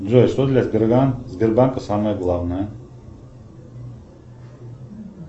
джой что для сбербанка самое главное